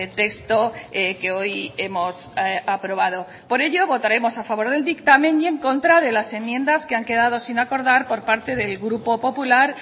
texto que hoy hemos aprobado por ello votaremos a favor del dictamen y en contra de las enmiendas que han quedado sin acordar por parte del grupo popular